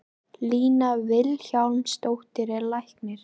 Lína Vilhjálmsdóttir er læknir.